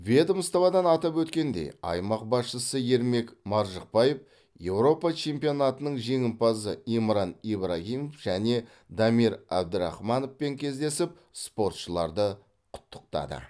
ведомстводан атап өткендей аймақ басшысы ермек маржықпаев еуропа чемпионатының жеңімпазы имран ибрагимов және дамир абдрахмановпен кездесіп спортшыларды құттықтады